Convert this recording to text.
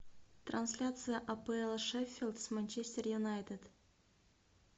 трансляция апл шеффилд с манчестер юнайтед